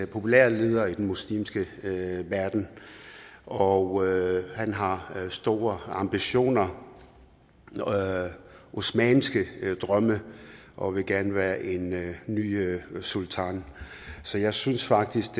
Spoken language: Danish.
populære leder i den muslimske verden og han har store ambitioner osmanniske drømme og vil gerne være en ny sultan så jeg synes faktisk